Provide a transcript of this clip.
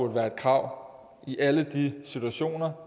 være et krav i alle de situationer